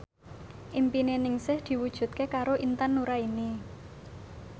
impine Ningsih diwujudke karo Intan Nuraini